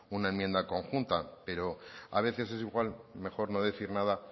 una enmienda conjunta pero a veces es igual mejor no decir nada